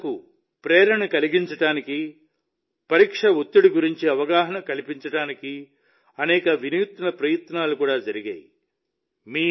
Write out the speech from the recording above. విద్యార్థులను ప్రేరేపించడానికి పరీక్ష ఒత్తిడి గురించి అవగాహన కల్పించడానికి అనేక వినూత్న ప్రయత్నాలు కూడా జరిగాయి